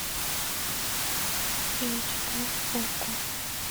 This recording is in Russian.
эйч дэ окко